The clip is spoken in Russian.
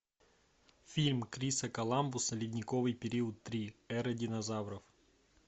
фильм криса коламбуса ледниковый период три эра динозавров